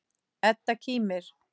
Edda kímir.